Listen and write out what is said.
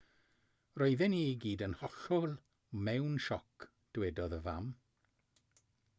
roedden ni i gyd yn hollol mewn sioc dywedodd y fam